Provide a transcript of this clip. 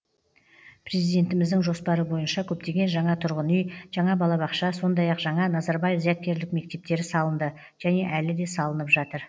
президентіміздің жоспары бойынша көптеген жаңа тұрғын үй жаңа балабақша сондай ақ жаңа назарбаев зияткерлік мектептері салынды және әлі де салынып жатыр